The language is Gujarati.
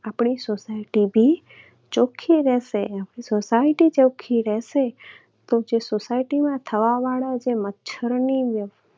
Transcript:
આપણી society પણ ચોખ્ખી રહેશે. society ચોખ્ખી રહેશે તો જે society માં થવા વાળા મચ્છરોની